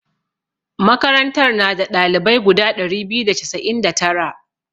Makarantar na da ɗalibai guda ɗari biyu da casa'in da tara.